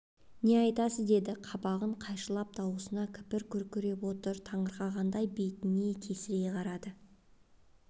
не айтасыз деді қабағын қайшылап дауысына кіріп күркіреп отыр таңырқағандай бетіне тесірейе қарады